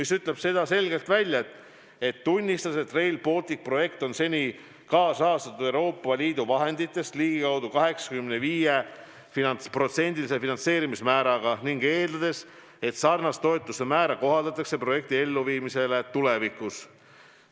Selles on selgelt öeldud, et me tunnistame, et Rail Balticu projekti on seni kaasrahastatud Euroopa Liidu vahenditest ligikaudu 85%-lise finantseerimismääraga, ning eeldame, et sarnast toetusemäära kohaldatakse projekti elluviimisele tulevikus.